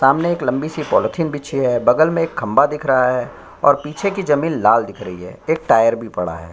सामने एक लम्बी सी पोलोथिन भीछी है बगल में खम्बा दिख रहा है और पीछे की जमीन लाल दिख रही है एक टायर भी पड़ा है।